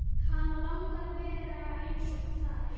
Hana langar að vera einsog þær.